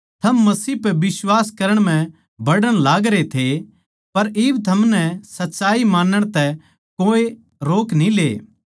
थम मसीह पै बिश्वास करण म्ह बढ़ण लागरे थे पर इब थमनै सच्चाई मानण तै कोए रोक न्ही ले